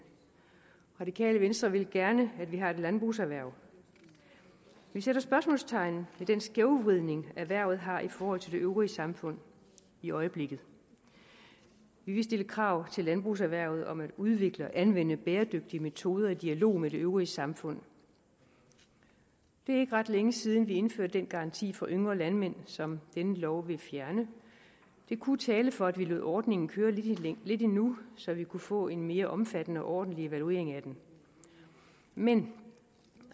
radikale venstre vil gerne at vi har et landbrugserhverv vi sætter spørgsmålstegn ved den skævvridning erhvervet har i forhold til det øvrige samfund i øjeblikket vi vil stille krav til landbrugserhvervet om at udvikle og anvende bæredygtige metoder i dialog med det øvrige samfund det er ikke ret længe siden vi indførte den garanti for yngre landmænd som denne lov vil fjerne det kunne tale for at vi lod ordningen køre lidt lidt endnu så vi kunne få en mere omfattende og ordentlig evaluering af den men